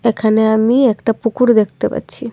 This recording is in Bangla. এখানে আমি একটা পুকুর দেখতে পাচ্ছি।